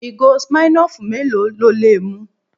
Ìgò Smirnoff mélòó lo lè mu?